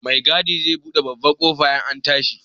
Mai gadi zai buɗe babbar ƙofa in an tashi.